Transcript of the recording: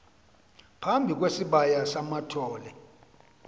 phambi kwesibaya samathole